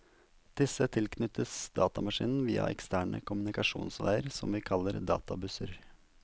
Disse tilknyttes datamaskinen via eksterne kommunikasjonsveier, som vi kaller databusser.